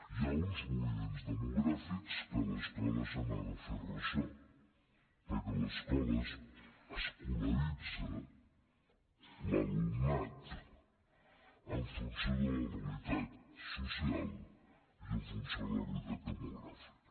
hi ha uns moviments demogràfics de què l’escola se n’ha de fer ressò perquè l’escola escolaritza l’alumnat en funció de la realitat social i en funció de la realitat demogràfica